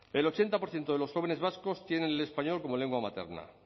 el ochenta por ciento de los jóvenes vascos tienen el español como lengua materna